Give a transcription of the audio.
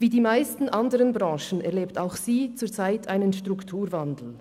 Wie die meisten anderen Branchen erlebt auch sie zurzeit einen Strukturwandel.